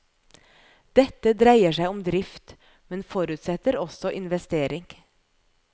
Dette dreier seg om drift, men forutsetter også investering.